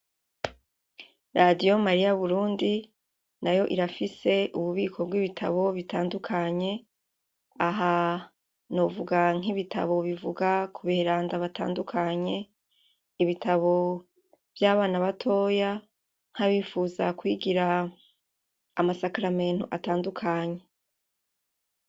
Radiyo mariya-burundi nayo irafise ububiko bw'ibitabo bitandukanye. Aha novuga nk'ibitabo bivuga ku beranda batandukanye, ibitabo vy'abana batoya, nk'abifuza kwigira amasakaramentu atandukanye.